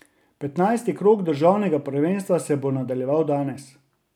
Petnajsti krog državnega prvenstva se bo nadaljeval danes.